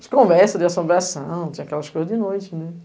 As conversas, de assombração, tinha aquelas coisas de noite, né?